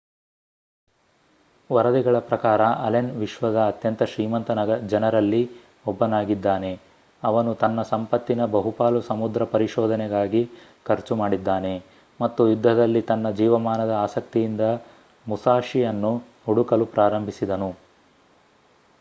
ವರದಿಗಳ ಪ್ರಕಾರ ಅಲೆನ್ ವಿಶ್ವದ ಅತ್ಯಂತ ಶ್ರೀಮಂತ ಜನರಲ್ಲಿ ಒಬ್ಬನಾಗಿದ್ದಾನೆ.ಅವನು ತನ್ನ ಸಂಪತ್ತಿನ ಬಹುಪಾಲು ಸಮುದ್ರ ಪರಿಶೋಧನೆಗಾಗಿ ಖರ್ಚು ಮಾಡಿದ್ದಾನೆ ಮತ್ತು ಯುದ್ಧದಲ್ಲಿ ತನ್ನ ಜೀವಮಾನದ ಆಸಕ್ತಿಯಿಂದ ಮುಸಾಶಿಯನ್ನು ಹುಡುಕಲು ಪ್ರಾರಂಭಿಸಿದನು